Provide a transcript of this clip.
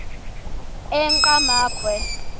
enqgamakhwe